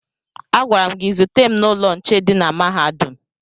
Agwara m gị zute m n'ụlọ nche dị na mahadum!